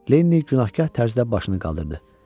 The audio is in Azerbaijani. Lenni günahkar tərzdə başını qaldırdı.